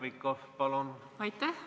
Aitäh!